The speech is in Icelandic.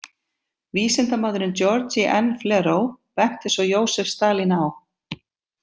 Vísindamaðurinn Georgy N Flerov benti svo Jósef Stalín á.